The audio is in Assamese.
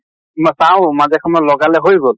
ম চাওঁ মাজে সময়ে লগালে হৈ গʼল।